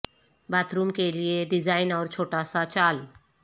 bath room کے لئے design اور چھوٹا سا چال